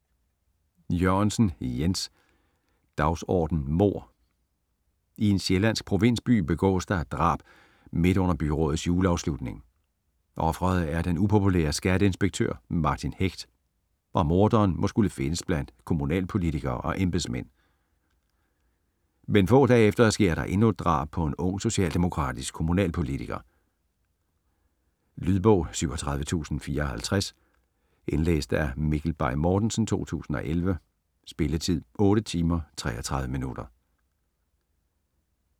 Jørgensen, Jens: Dagsorden mord I en sjællandsk provinsby begås der et drab midt under byrådets juleafslutning. Ofret er den upopulære skatteinspektør Martin Hecht, og morderen må skulle findes blandt kommunalpolitikere og embedsmænd. Men få dage efter sker der endnu et drab på en ung socialdemokratisk kommunalpolitiker. Lydbog 37054 Indlæst af Mikkel Bay Mortensen, 2011. Spilletid: 8 timer, 33 minutter.